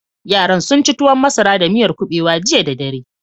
Yaran sun ci tuwon masara da miyar kuɓewa jiya da dare.